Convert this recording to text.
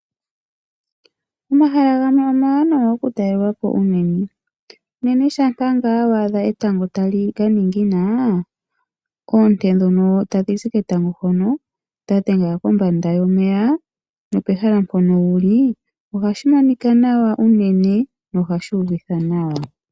Omahala gamwe omawanawa okutalelwa po unene tuu shampa wa adha etango lya ningina. Oonte dhoka tadhi zi ketango dha dhenga kombanda yomeya, nopehala mpono wu li, ohashi monika nawa unene nohashi uvitha nawa.